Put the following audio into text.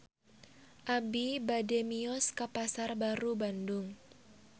Abi bade mios ka Pasar Baru Bandung